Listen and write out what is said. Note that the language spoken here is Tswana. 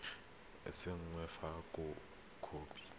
e e saenweng fa khopi